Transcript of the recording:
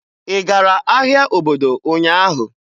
Ị gara ahịa obodo ụnyaahụ?